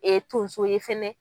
tonso ye fana.